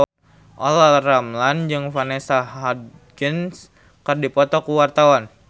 Olla Ramlan jeung Vanessa Hudgens keur dipoto ku wartawan